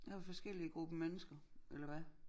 Det er forskellige grupper mennesker eller hvad?